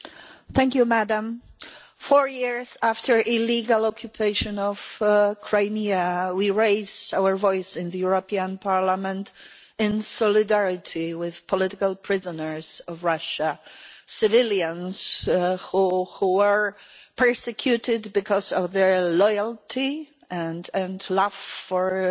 Madam President, four years after the illegal occupation of Crimea, we raise our voice in the European Parliament in solidarity with political prisoners of Russia civilians who are persecuted because of their loyalty and love for this